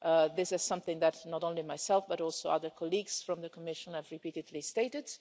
This is something that not only I, but also other colleagues from the Commission, have repeatedly stated.